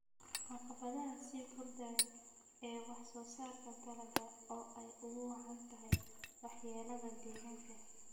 Caqabadaha sii kordhaya ee wax soo saarka dalagga oo ay ugu wacan tahay waxyeelada deegaanka.